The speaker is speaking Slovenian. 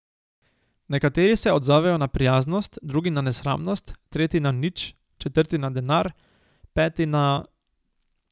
Nekateri se odzovejo na prijaznost, drugi na nesramnost, tretji na nič, četrti na denar, peti na ...